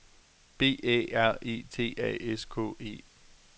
B Æ R E T A S K E